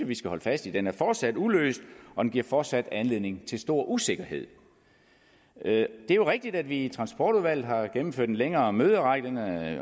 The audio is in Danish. vi skal holde fast i den er fortsat uløst og den giver fortsat anledning til stor usikkerhed det er rigtigt at vi i transportudvalget har gennemført en længere møderække